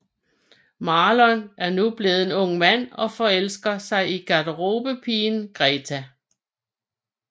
Marlon er nu blevet en ung mand og forelsker sig i garderobepigen Greta